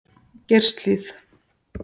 Geirshlíð